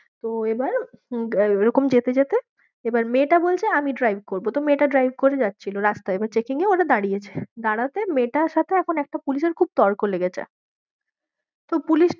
তো এবার আহ এরকম যেতে যেতে এবার মেয়েটা বলছে আমি drive করবো, তো মেয়েটা drive করে যাচ্ছিলো রাস্তায়, এবার checking এ হচ্ছে দাঁড়িয়েছে, দাঁড়াতে মেয়েটার সাথে এখন একটা পুলিশের খুব তর্ক লেগেছে তো পুলিশ